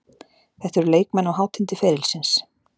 Þetta eru leikmenn á hátindi ferilsins.